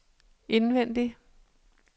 indvendig